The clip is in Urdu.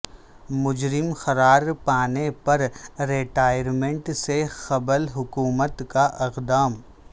مجرم قرار پانے پر ریٹائرمنٹ سے قبل حکومت کا اقدام